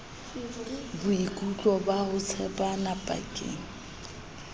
boikutlo ba ho tshepana pakeng